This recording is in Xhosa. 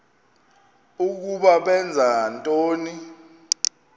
ukuba benza ntoni